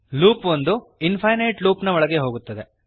loop ಒಂದು infinite loopನ ಒಳಗೆ ಹೋಗುತ್ತದೆ